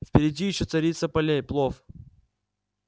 впереди ещё царица полей плов